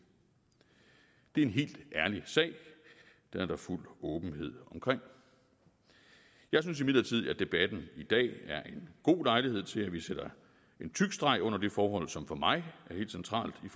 det er en helt ærlig sag den er der fuld åbenhed omkring jeg synes imidlertid at debatten i dag er en god lejlighed til at vi sætter en tyk streg under det forhold som for mig er helt centralt i